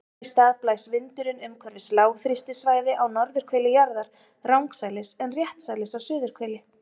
Þess í stað blæs vindurinn umhverfis lágþrýstisvæði á norðurhveli jarðar rangsælis en réttsælis á suðurhveli.